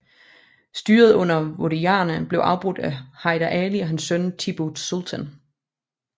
Styret under wodeyarerne blev afbrudt af Hyder Ali og hans søn Tippu Sultan